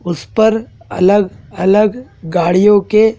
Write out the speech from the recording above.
उस पर अलग अलग गाड़ियों के--